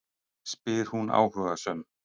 spyr hún áhugasöm.